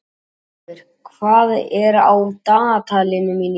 Brynleifur, hvað er á dagatalinu mínu í dag?